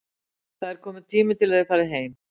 Það er kominn tími til að þið farið heim.